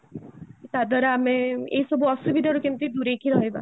ତା ଦ୍ୱାରା ଆମେ ଏଇ ସବୁ ଅସୁବିଧା ରୁ କେମିତି ଦୂରେଇକି ରହିବା